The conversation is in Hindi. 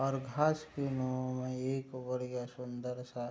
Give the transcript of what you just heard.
और घास एक बढ़िया सुन्दर सा ।